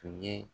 Tun ye